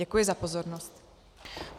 Děkuji za pozornost.